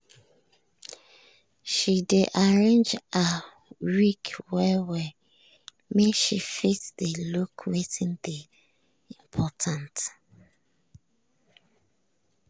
she dey arrange her week well-well make she fit dey look wetin dey important.